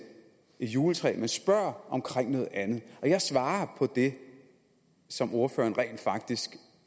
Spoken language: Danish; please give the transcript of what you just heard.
juletræ men spørger om noget andet og jeg svarer på det som ordføreren rent faktisk